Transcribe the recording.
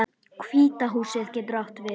Hvíta húsið getur átt við